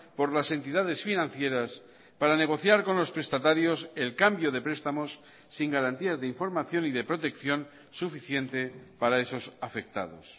por las entidades financieras para negociar con los prestatarios el cambio de prestamos sin garantías de información y de protección suficiente para esos afectados